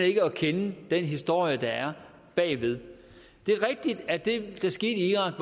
ikke at kende den historie der er bagved det er rigtigt at det der skete i irak